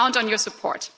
I count on your support.